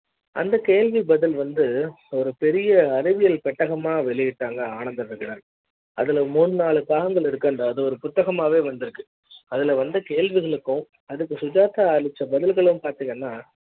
அந்த கேள்வி பதில் வந்து ஒரு பெரிய அறிவியல் பெட்டக மா வெளியிட்டாங்க ஆனந்த விகடன் ஆனா அதுல மூன்று நான்கு பாகங்கள் இருக்கு அது ஒரு புத்தக மாவே வந்து ருக்கு